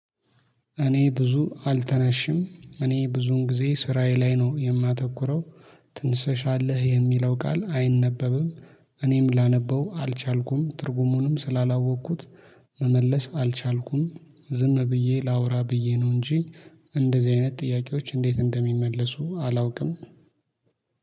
እኔ ብዙ አልተናሽም እኔ ብዙን ጊዜ ስራዬ ላይ ነው የማተኩረው። ትንሰሻለህ የሚለው ቃል አይነበብም። እኔም ላነበው አልቻልኩም ትርጉሙንም ስላላወቅኩት። መመለስ አልቻልኩም ዝም ብዬ ላውራ ብዬ ነው እንጂ። እንደዚህ አይነት ጥያቄዎች እንዴት እንደሚመለሱ አላውቅም